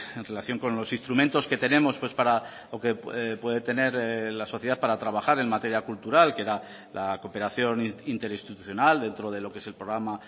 en relación con los instrumentos que tenemos o que puede tener la sociedad para trabajar en materia cultural que era la cooperación interinstitucional dentro de lo que es el programa